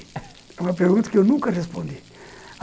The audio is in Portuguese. É uma pergunta que eu nunca respondi.